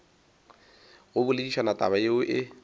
go boledišana taba yeo e